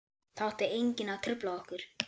Það átti enginn að trufla okkur.